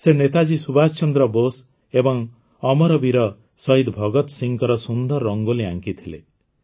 ସେ ନେତାଜୀ ସୁଭାଷ ଚନ୍ଦ୍ର ବୋଷ ଏବଂ ଅମର ବୀର ଶହିଦ ଭଗତ ସିଂଙ୍କ ସୁନ୍ଦର ରଙ୍ଗୋଲି ଆଙ୍କିଥିଲେ